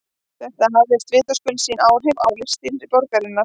Þetta hafði vitaskuld sín áhrif á listalíf borgarinnar.